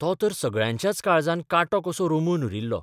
तो तर सगळ्यांच्याच काळजांत कांटो कसो रोमून उरिल्लो.